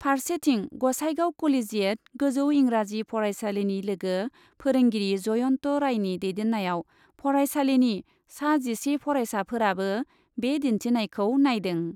फारसेथिं ग'साइगाव क'लेजियेट गोजौ इंराजी फरायसालिनि लोगो फोरोंगिरि जयन्त रायनि दैदेन्नायाव फरायसालिनि सा जिसे फरायसाफोराबो बे दिन्थिनायखौ नायदों।